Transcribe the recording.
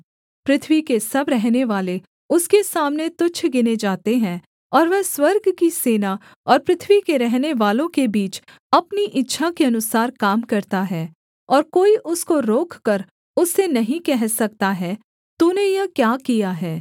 पृथ्वी के सब रहनेवाले उसके सामने तुच्छ गिने जाते हैं और वह स्वर्ग की सेना और पृथ्वी के रहनेवालों के बीच अपनी इच्छा के अनुसार काम करता है और कोई उसको रोककर उससे नहीं कह सकता है तूने यह क्या किया है